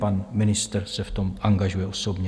Pan ministr se v tom angažuje osobně.